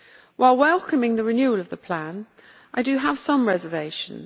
While welcoming the renewal of the plan, I do have some reservations.